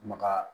Maka